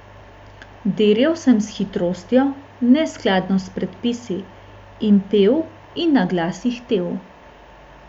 Dirjal sem s hitrostjo, neskladno s predpisi, in pel in naglas ihtel.